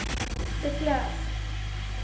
de klerk